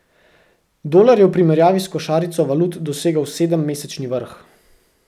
Dolar je v primerjavi s košarico valut dosegel sedemmesečni vrh.